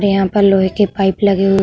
यहाँ पर लोहे की पाइप लगी हुई --